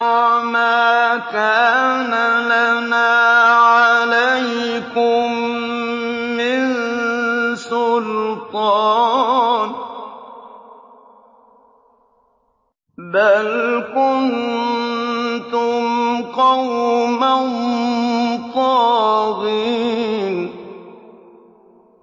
وَمَا كَانَ لَنَا عَلَيْكُم مِّن سُلْطَانٍ ۖ بَلْ كُنتُمْ قَوْمًا طَاغِينَ